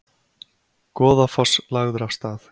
Goðafoss lagður af stað